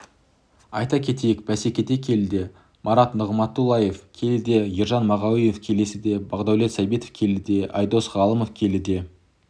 айта кетейік бәсекеде келіде марат нығыматұллаев келіде ержан мағауинов келіде бақдәулет сәбитов келіде ійдос ғалымов келіде